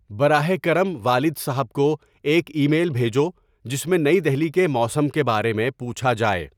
براہ کرم والد صاحب کو ایک ای میل بھیجو جس میں نئی دہلی کے موسم کے بارے میں پوچھا جائے